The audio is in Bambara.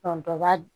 dɔ b'a